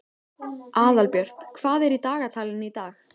Aðalbjört, hvað er í dagatalinu í dag?